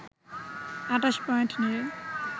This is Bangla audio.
২৮ পয়েন্ট নিয়ে